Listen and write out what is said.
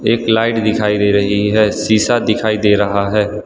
एक लाइट दिखाई दे रही है शीशा दिखाई दे रहा है।